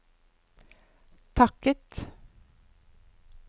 takket